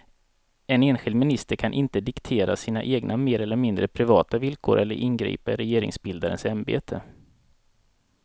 En enskild minister kan inte diktera sina egna mer eller mindre privata villkor eller ingripa i regeringsbildarens ämbete.